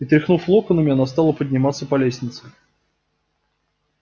и тряхнув локонами она стала подниматься по лестнице